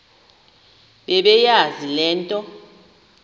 bebeyazi le nto